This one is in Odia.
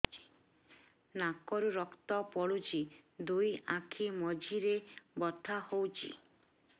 ନାକରୁ ରକ୍ତ ପଡୁଛି ଦୁଇ ଆଖି ମଝିରେ ବଥା ହଉଚି